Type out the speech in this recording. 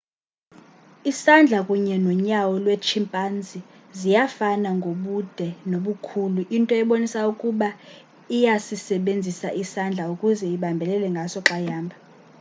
isandla kunye nonyawo lwetshimpanzi ziyafana ngokobude nobukhulu into ebonisa ukuba iyasisebenzisa isandla ukuze ibambelele ngaso xa ihamba